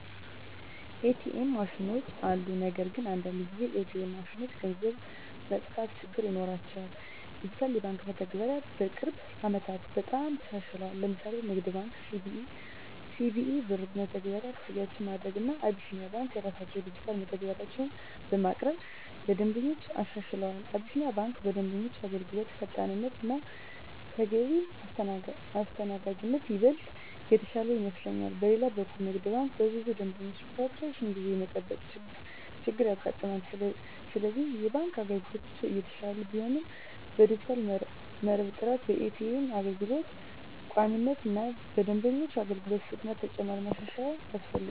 ኤ.ቲ.ኤም ማሽኖች አሉ። ነገር ግን አንዳንድ ጊዜ ኤ.ቲ.ኤም ማሽኖች ገንዘብ መጥፋት ችግር ይኖራቸዋል። ዲጂታል የባንክ መተግበሪያዎች በቅርብ ዓመታት በጣም ተሻሽለዋል። ለምሳሌ ንግድ ባንክ(CBE) በCBE Birr መተግበሪያ ክፍያዎችን ማድረግ፣ እና አቢሲኒያ ባንክ የራሳቸውን ዲጂታል መተግበሪያዎች በማቅረብ ለደንበኞች አሻሽለዋል። አቢሲኒያ ባንክ በደንበኞች አገልግሎት ፈጣንነት እና ተገቢ አስተናጋጅነት ይበልጥ የተሻለ ይመስለኛል። በሌላ በኩል ንግድ ባንክ በብዙ ደንበኞች ምክንያት ረጅም ጊዜ የመጠበቅ ችገር ያጋጥማል፤ ስለዚህ የባንክ አገልግሎቶች እየተሻሻሉ ቢሆንም በዲጂታል መረብ ጥራት፣ በኤ.ቲ.ኤም አገልግሎት ቋሚነት እና በደንበኞች አገልግሎት ፍጥነት ተጨማሪ ማሻሻያ ያስፈልጋል።